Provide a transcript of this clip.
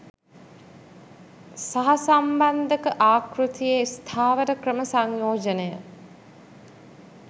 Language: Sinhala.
සහසම්බන්ධක ආකෘතියේ ස්ථාවර ක්‍රම සංයෝජනය